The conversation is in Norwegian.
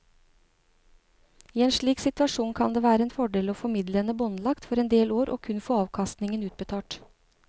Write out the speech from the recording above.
I en slik situasjon kan det være en fordel å få midlene båndlagt for en del år og kun få avkastningen utbetalt.